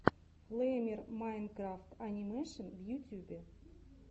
флэймер майнкрафт анимэшен в ютьюбе